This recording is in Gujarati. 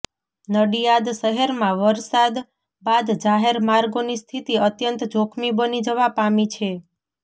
નડિયાદ શહેરમાં વરસાદ બાદ જાહેર માર્ગોની સ્થિતી અત્યંત જોખમી બની જવા પામી છે